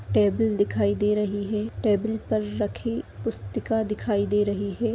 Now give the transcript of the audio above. Table दिखाई दे रही हे टेबल पर रखी पुस्तिका दिखाई दे रही हे।